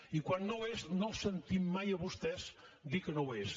i quan no ho és no els sentim mai a vostès dir que no ho és